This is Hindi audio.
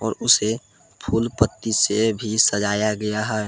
और उसे फूल पत्ती से भी सजाया गया है।